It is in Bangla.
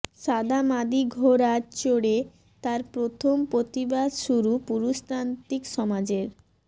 সাদা মাদি ঘোড়ায় চড়ে তাঁর প্রথম প্রতিবাদ শুরু পুরুষতান্ত্রিক সমাজের